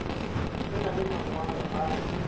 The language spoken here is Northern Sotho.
o na le mangwalo a